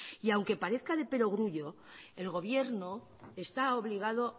y aunque parezca de perogrullo el gobierno está obligado